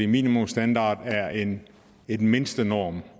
minimumsstandard er en mindstenorm